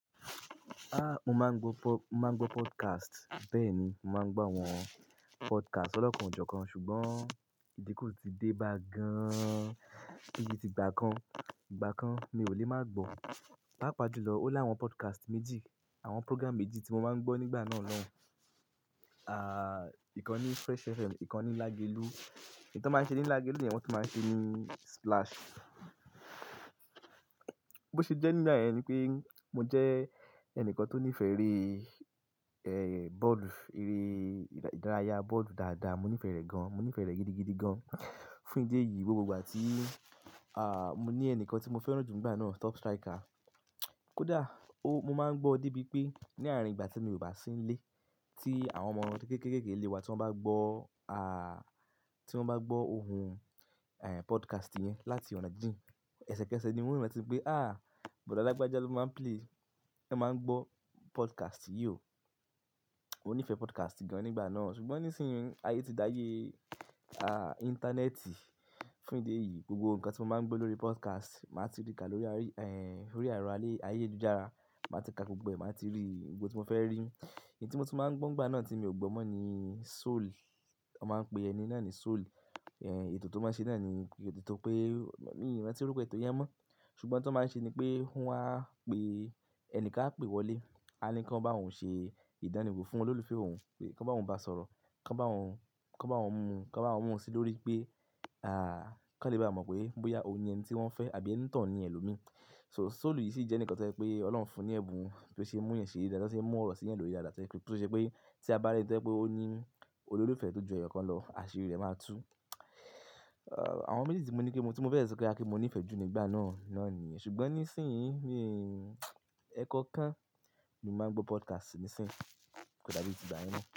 Ah, mo máa ń gbọ́ po-- máa ń gbọ́ podcast. Bẹ́ẹ̀ ni, màá ń gbọ́ àwọn podcast ọlọ́kàn jọkan ṣùgbọ́n ìdínku tí dé bá gan-an, bì í ti gbà kan, ìgbà kan mi ò lè máa gbọ́. Pápa jùlọ ó láwọn podcast méjì, àwọn program méjì tí mo máa ń gbọ́ nígbà náà ló hun. À, ìkan ní Fresh FM, ìkan ní Lagelu. Èyi tan máa ń ṣe ní Lagelu yen, wọ̀n tun máa ń ṣe ní Splash. Bó ṣe jẹ́ nígbà yen ni pé mo jẹ́ ẹnìkan tó nífẹ̀ẹ́ eré, ẹ́, bọ́ọ̀lù, eré ìdárayá, bọ́ọ̀lù dáadáa, mo nífẹ̀ẹ́ rẹ̀ gan-an, mo nífẹ̀ẹ́ rẹ̀ gidigidi gan-an. Fún ìdí èyí, gbogbo ìgbà tí, à, mo ní ẹnìkan tí mo fẹ́ràn jù nígbà náà, top striker. Kódà ó, mo máa ń gbọ́ débi pé ní àárín ìgbà tí mo kò bá sí nílé, tí àwọn ọmọ kéékèèké kéékèèké ilé wa tí wọ́n bá gbọ́, à, tí wọ́n bá gbọ́ ohùn, ẹ́, podcast yẹn láti ọ̀nà díì, ẹsẹ̀kẹsẹ̀ ni wọ́n ranti pé, "àh, Bọ̀dá Lágbájá ló máa ń play, ẹ máa ń gbọ́ podcast yìí o." Mo nífẹ̀ẹ́ podcast gan nígbà náà. Ṣùgbọ́n nísinsìnyí ayé ti dáyé, à, íńtánẹ́ẹ̀tì. Fún ìdí èyí, gbogbo nǹkan tí mo máa ń gbọ́ lórí podcast, màá ti rí ká lórí, ẹ́, lórí àárọ̀ alẹ́ ayélújára. Màá ti ka gbogbo, màá ti rí ohun gbogbo tí mo fẹ́ rí. Ẹ̀, èyí tí mo tún máa ń gbọ́ nígbà náà tí mi ò gbọ́ mọ́ ni soul. Wọ́n máa ń pe ẹni náà ní soul. Ẹ̀, ètò tó máa ń ṣe náà ni ètò tó pé, mi ò mọ̀ bí wọ́n ti rí pé ètò yẹn mọ́. Ṣùgbọ́n oun tó máa ń ṣe ni pé wọn á pe, ẹnìkan á pè wọlé, a ní kí wọ́n bá òun ṣe ìdániwó fún olólùfẹ́ òun pé kí wọ́n bá òun bá sọ̀rọ̀, kí wọ́n bá òun, kí wọ́n bá òun mú, kí wọ́n bá òun mú sí i lórí pé, à, kí wọ́n lè bá a mọ̀ pé bóyá òun ni ẹni tí wọ́n fẹ́ àbí ẹni toun ni ẹlòmíí. So soul yìí sì jẹ́ ẹnìkan tẹ́ pé Ọlọ́run fún ní ẹ̀bùn tó ṣe é mú'yan ṣere daadaa, tó ṣe é mú ọ̀rọ̀ sí ẹeyàn lórí daadaa to je pẹ̀, tó ṣe pé tí a bá rí eni to jẹ́ pé ó ní olólùfẹ́ tó ju ẹyọ̀kan lọ, àṣírí rẹ̀ máa tú. Àwọn méjì tí mo ní kí mo, tí mo fẹ́ sọ kí a mọ̀ pé mo nífẹ̀ẹ́ jù nígbà náà náà ni. Ṣùgbọ́n nísinsìnyí ni, ẹ́kọokan ni a máa ń gbọ́ podcast nísinsìnyí kódà bí ti gbá yen mọ́